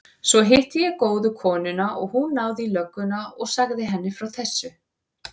Svo hitti ég góðu konuna og hún náði í lögguna og sagði henni frá þessu.